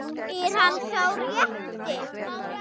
Er hann sá rétti?